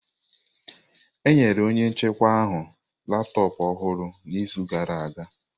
Enyere onye njikwa ahụ laptọọpụ ọhụrụ n'izu gara aga.